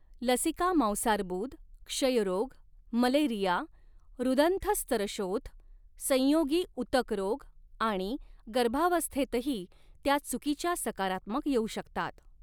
लसिका मांसार्बुद, क्षयरोग, मलेरिया, ह्रदंथस्तरशोथ, संयोगी ऊतक रोग आणि गर्भावस्थेतही त्या चुकीच्या सकारात्मक येऊ शकतात.